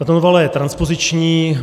Tato novela je transpoziční.